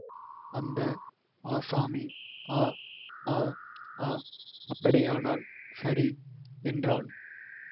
அந்த ஆசாமி அ அ அ அப்படியானால் சரி என்றான்